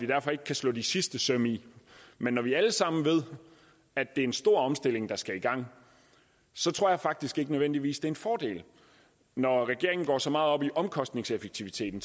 derfor ikke kan slå de sidste søm i men når vi alle sammen ved at det er en stor omstilling der skal i gang så tror jeg faktisk ikke nødvendigvis det er en fordel når regeringen går så meget op i omkostningseffektiviteten